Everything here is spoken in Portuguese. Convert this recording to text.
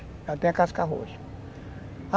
Ela tem a casca roxa.